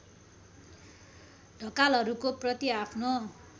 ढकालहरूको प्रति आफ्नो